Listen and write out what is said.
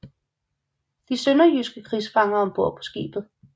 De sønderjyske krigsfanger ombord på skibet